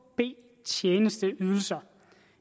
b tjenesteydelser